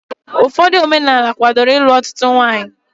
Ụfọdụ omenaala kwádoro ịlụ ọtụtụ nwaanyị